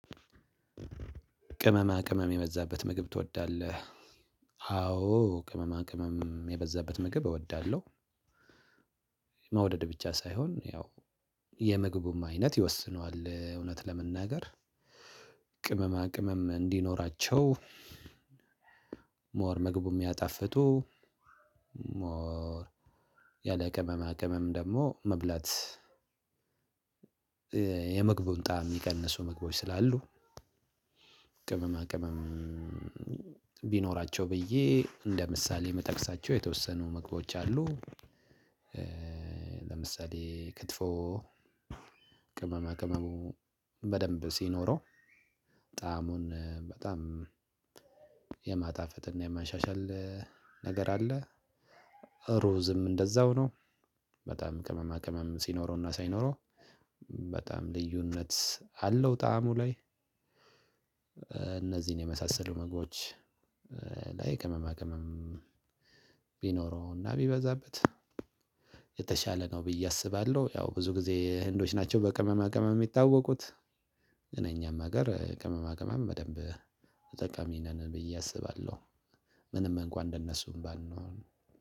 ቅመማ ቅመም የበዛበት ምግብ ትወዳለህ? አዎ ቅመማ ቅመም የበዛበት ምግብ እወዳለሁ። መውደድ ብቻ ሳይሆን ያው የምግቡም አይነት ይወስነዋል እውነት ለመናገር ቅመማ ቅመም እንዲኖራቸው የምግቡን ጣዕም የሚቀንሱ ምግቦች ስላሉ ቅመም ቢኖራቸው ብዬ እንደ ምሳሌ እምጠቅሳቸው የተወሰኑ ምግቦች አሉ። ለምሳሌ ክትፎ ቅመማ ቅመሙ በደንብ ሲኖረው ጣዕሙን በጣም የማጣፈጥና የማሻሻል ነገር አለ። ሮዝም እንደዛው ነው። በጣም ቅመማ ቅመም ሲኖረውና ሳይኖረው በጣም ልዩነት አለው። ጣዕሙ ላይ እነዚህን የመሳሰሉ ምግቦች ላይ ቅመማ ቅመም ቢኖረውና ቢበዛበት የተሻለ ነው ብዬ አስባለሁ። ያው ብዙ ጊዜ ህንዶች ናቸው በቅመማ ቅመም የሚታወቁት እነኛም ሀገር ቅመማ ቅመም በደንብ ተጠቃሚ ነን ብዬ አስባለሁ። ምንም እንኳን እንደነሱ ባንሆንም